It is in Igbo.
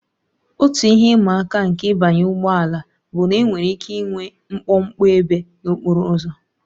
Otu ihe ịma aka nke ịbanye ụgbọ ala bụ na enwere ike ịnwe mkpọmkpọ ebe n'okporo ụzọ